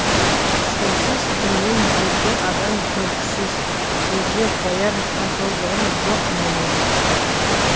сенсіз күннен беті адам көргісіз безе қояр батылдығым жоқ менің